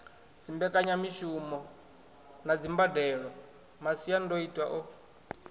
dzimbekanyamushumo na dzimbadelo masiandoitwa a